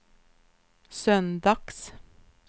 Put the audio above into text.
söndags